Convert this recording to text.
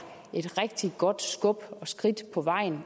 et rigtig godt skub og et skridt på vejen